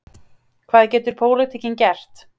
Hvað getur pólitíkin gert?